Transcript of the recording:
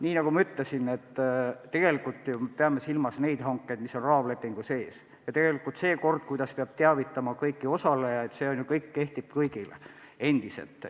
Nii nagu ma ütlesin, peame me tegelikult silmas neid hankeid, mis tehakse raamlepingu sees, ja tegelikult see kord, kuidas kõiki osalejaid peab teavitama, kehtib endiselt.